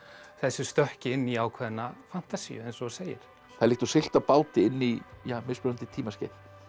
þessu stökki inn í ákveðna fantasíu eins og þú segir það er líkt og siglt á báti inn í mismunandi tímaskeið